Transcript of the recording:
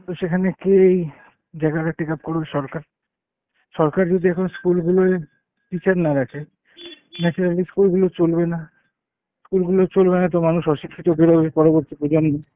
তো সেখানে কে এই জায়গাটা take up করুক সরকার। সরকার যদি এখন school গুলোয় teacher না রাখে naturally school গুলো চলবে না। school গুলো চলবে না তো মানুষ অশিক্ষিত বেরোবে পরবর্তী প্রজন্ম।